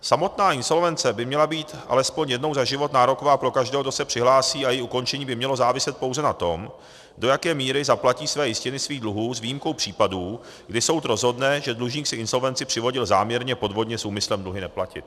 Samotná insolvence by měla být alespoň jednou za život nároková pro každého, kdo se přihlásí, a její ukončení by mělo záviset pouze na tom, do jaké míry zaplatí své jistiny svých dluhů s výjimkou případů, kdy soud rozhodne, že dlužník si insolvenci přivodil záměrně, podvodně, s úmyslem dluhy neplatit.